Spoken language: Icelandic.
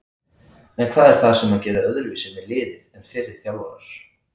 En hvað er það sem hann gerði öðruvísi með liðið en fyrri þjálfarar?